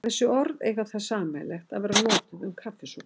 Þessi orð eiga það sameiginlegt að vera notuð um kaffisopa.